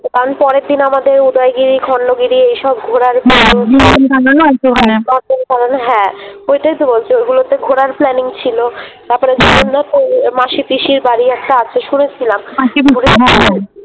তারপরের দিন আমাদের উদয়গিরী খণ্ডগিরী এসব ঘোরার হ্যাঁ হ্যাঁ ওইটাই তো বলছি ওগুলোতে ঘোরার Planning ছিলো তারপরে মাসি পিসীর বাড়ি একটা আছে শুনেছিলাম।